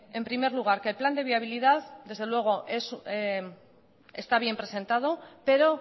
en primer lugar que el plan de viabilidad desde luego está bien presentado pero